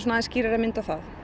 skýrari mynd á það